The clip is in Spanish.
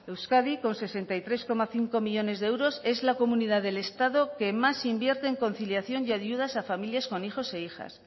euskadi con sesenta y tres coma cinco millónes de euros es la comunidad del estado que más invierte en conciliación y ayudas a familias con hijos e hijas